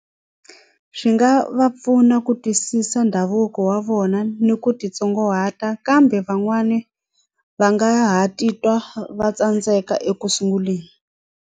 Swi nga va pfuna ku twisisa ndhavuko wa vona ni ku titsongahata kambe van'wani va nga ha titwa va tsandzeka eku sunguleni.